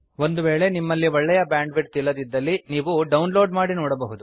ಒಂದು ವೇಳೆ ನಿಮ್ಮಲ್ಲಿ ಒಳ್ಳೆಯ ಬ್ಯಾಂಡ್ ವಿಡ್ತ್ ಇಲ್ಲದಿದ್ದಲ್ಲಿ ನೀವು ಡೌನ್ ಲೋಡ್ ಮಾಡಿ ನೋಡಬಹುದು